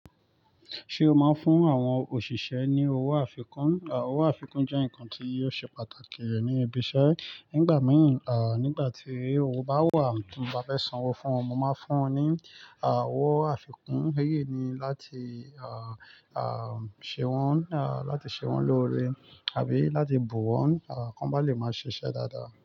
Ṣé o máa ń fún àwọn òṣìṣẹ́ ní owó àfikún? Owó àfikún jẹ́ nǹkan tí yóò ṣe pàtàkì rẹ̀ ní ibi iṣẹ́. Nígbà mìíràn, à, nígbà tí owó bá wà tí mo bá fẹ́ san owó fún wọn, mo máa fún wọn ní, à, owó àfikún. Èyí ni láti, à, à, ṣe wọ́n, à, láti ṣe wọ́n lóore àbí láti bù wọ́n, à, kí wọ́n bá lè máa ṣiṣẹ́ dáadáa.